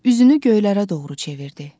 Üzünü göylərə doğru çevirdi.